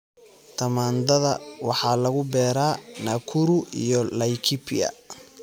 Tamaandhada waxaa lagu beeraa Nakuru iyo Laikipia.